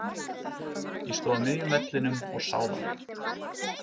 Ég stóð á miðjum vellinum og sá það.